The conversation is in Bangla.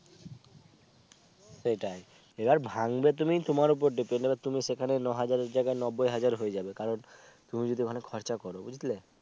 সেটাই সে আর ভাঙ্গবে তুমি তোমার উপর depend তুমি সেখানে নয় হাজার জায়গায় নব্বই হাজার হয়ে যাবে কারণ তুমি যদি ওখানে খরচা করো বুঝলে